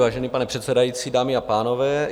Vážený pane předsedající, dámy a pánové.